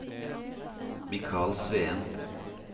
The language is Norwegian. Michael Sveen